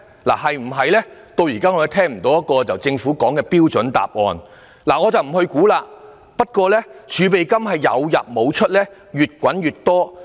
就此，我們至今仍未聽到政府就此提供一個標準答案，我也不想作估計，但儲備金有入無出、越滾越多。